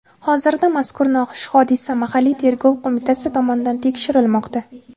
Hozirda mazkur noxush hodisa mahalliy tergov qo‘mitasi tomonidan tekshirilmoqda.